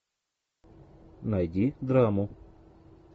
найди драму